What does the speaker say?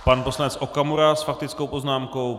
Pan poslanec Okamura s faktickou poznámkou.